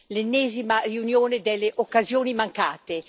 l'ennesima riunione delle occasioni mancate.